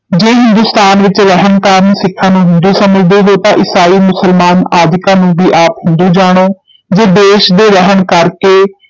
ਜੇ ਹਿੰਦੁਸਤਾਨ ਵਿਚ ਰਹਿਣ ਕਾਰਨ ਸਿੱਖਾਂ ਨੂੰ ਹਿੰਦੂ ਸਮਝਦੇ ਹੋ ਤਾਂ ਈਸਾਈ, ਮੁਸਲਮਾਨ ਆਦਿਕਾਂ ਨੂੰ ਭੀ ਆਪ ਹਿੰਦੂ ਜਾਣੋ ਜੇ ਦੇਸ਼ ਦੇ ਰਹਿਣ ਕਰਕੇ